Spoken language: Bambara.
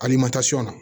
Ali na